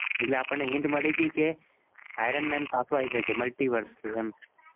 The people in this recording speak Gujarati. એટલે આપનને hint મડી ગઈ Iron Man પાછો આવી સકે multiverse થી એમ